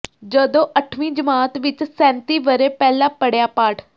ਜਦੋਂ ਅੱਠਵੀਂ ਜਮਾਤ ਵਿੱਚ ਸੈਂਤੀ ਵਰ੍ਹੇ ਪਹਿਲਾਂ ਪੜ੍ਹਿਆ ਪਾਠ